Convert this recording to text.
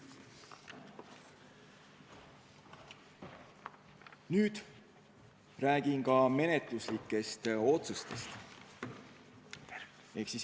Nüüd räägin ka menetluslikest otsustest.